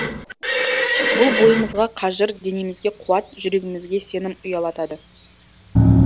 бұл бойымызға қажыр денемізге қуат жүрегімізге сенім ұялатады